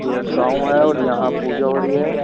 ये एक गांव है और यहां पूजा हो रही है।